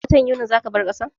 A watan Yunin za ka bar kasan?